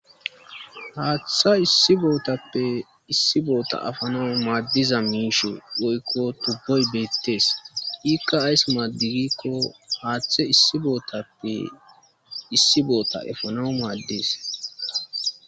Haaththa issi bootappe issi bootta efanaw maaddiza miishshi woykko tubboy beettee iikka ays maadi gikko haaththe issi bootappe issi boota efanaw maaddees